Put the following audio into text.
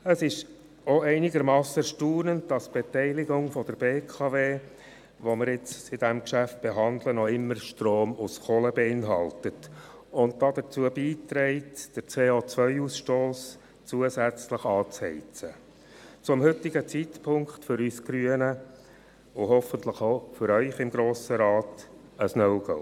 Es ist auch einigermassen erstaunlich, dass die Beteiligung der BKW – welche wir nun in diesem Geschäft behandeln – noch immer Strom aus Kohle beinhaltet und dazu beiträgt, den CO-Ausstoss zusätzlich anzuheizen – zum heutigen Zeitpunkt für uns Grüne und hoffentlich auch für Sie im Grossen Rat ein No-Go!